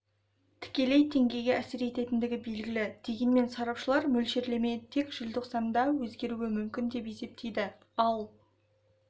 тікелей теңгеге әсер ететіндігі белгілі дегенмен сарапшылар мөлшерлеме тек желтоқсанда өзгеруі мүмкін деп есептейді ал